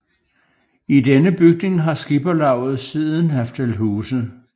I denne bygning har skipperlavet siden haft til huse